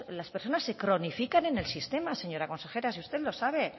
las personas se cronifican en el sistema señora consejera si usted lo sabe